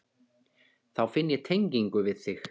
Þá finn ég tengingu við þig.